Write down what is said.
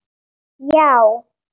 Já